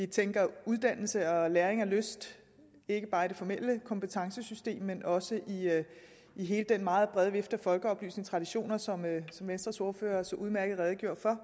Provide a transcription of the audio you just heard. tænker uddannelse og læring og lyst ikke bare i det formelle kompetencesystem men også i hele den meget brede vifte af folkeoplysningstraditioner som venstres ordfører så udmærket redegjorde for